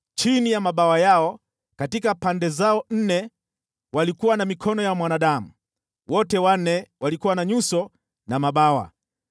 Chini ya mabawa yao katika pande zao nne walikuwa na mikono ya mwanadamu. Wote wanne walikuwa na nyuso na mabawa,